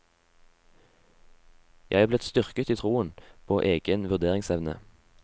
Jeg er blitt styrket i troen på egen vurderingsevne.